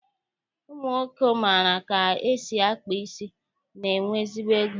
Ụmụnwoke maara ka esi akpa isi, na-enwe ezigbo ego